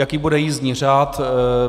Jaký bude jízdní řád?